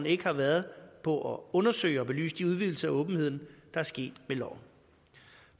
ikke har været på at undersøge og belyse de udvidelser af åbenheden der er sket med loven